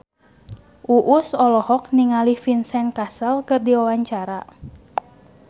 Uus olohok ningali Vincent Cassel keur diwawancara